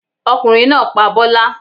Ọkùnrin náá pa bọ́lá